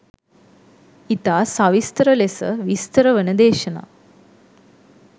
ඉතා සවිස්තර ලෙස විස්තර වන දේශනා